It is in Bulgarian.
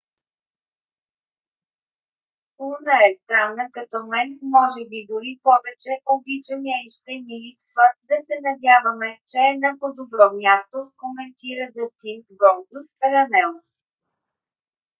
луна е странна като мен...може би дори повече...обичам я и ще ми липсва...да се надяваме че е на по - добро място коментира дъстин голдуст рънелс